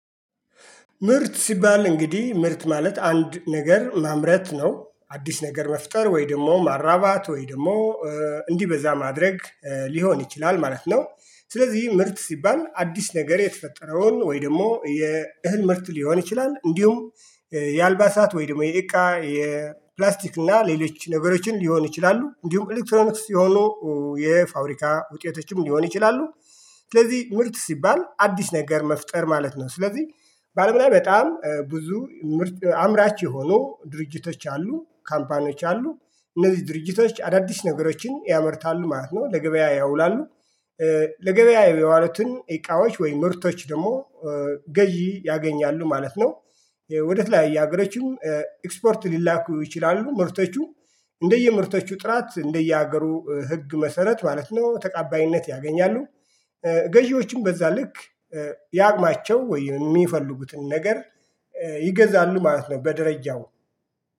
ምርት ሲባል እንግዲህ ምርት ማለት አንድ ነገር ማምረት ነው አዲስ ነገር መፍጠር ወይ ደግሞ ማራባት ወይ ደግሞ እንዲበዛ ማድረግ ሊሆን ይችላል ማለት ነው። ስለዚህ ምርት ሲባል አዲስ ነገር የተፈጠረውን ወይ ደግሞ የእህል ምርት ሊሆን ይችላል እንዲሁም የአልባሳት ወይ ደግሞ የእቃ የፕላስቲክ እና ሌሎች ነገሮችን ሊሆን ይችላሉ። እንዲሁም ኤሌክትሮኒክስ የሆኑ የፋብሪካ ውጤቶችም ሊሆን ይችላሉ። ስለዚህ ምርት ሲባል አዲስ ነገር መፍጠር ማለት ነው። ስለዚህ በአለም ላይ በጣም ብዙ ምርት አምራች የሆኑ ድርጅቶች አሉ ካምፓኒዎች አሉ እነዚህ ድርጅቶች አዳዲስ ነገሮችን ያመርታሉ ማለት ነው ለገበያ ያውላሉ። ለገበያ የዋለቱን እቃዎች ወይም ምርቶች ደግሞ ገዢ ያገኛሉ ማለት ነው። ወደ ተለያየ አገሮችም ኤክስፖርት ሊላኩ ይችላሉ። ምርቶቹ እንደየምርቶቹ ጥራት እንደየሀገሩ ህግ መሰረት ማለት ነው ተቃባይነት ያገኛሉ። ገዢዎችም በዛ ልክ ያቅማቸው ወይ የሚፈልጉትን ነገር ይገዛሉ ማለት ነው። በደረጃው